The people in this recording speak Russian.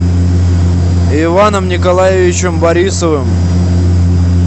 иваном николаевичем борисовым